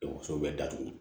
so bɛ datugu